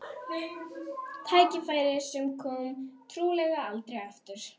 Tækifæri sem komi trúlega aldrei aftur.